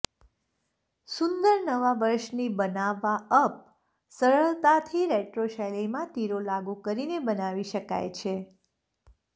સુંદર નવા વર્ષની બનાવવા અપ સરળતાથી રેટ્રો શૈલીમાં તીરો લાગુ કરીને બનાવી શકાય છે